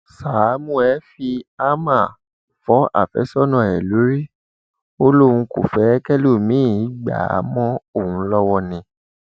sámúẹ fi háàmà fọ àfẹsọnà ẹ lórí ó lóun kò fẹ kẹlòmíín gbá a mọ òun lọwọ ni